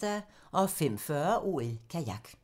05:40: OL: Kajak